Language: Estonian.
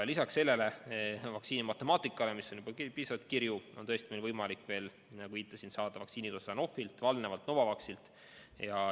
Lisaks sellele vaktsiinimatemaatikale, mis on juba piisavalt kirju, on tõesti meil võimalik, nagu viitasin, saada vaktsiini Sanofilt, Valnevalt ja Novavaxilt.